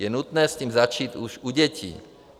Je nutné s tím začít už u dětí.